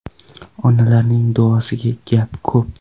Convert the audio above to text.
Onalarning duosida gap ko‘p.